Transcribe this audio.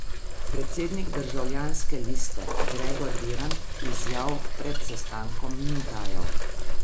Predsednik Državljanske liste Gregor Virant izjav pred sestankom ni dajal.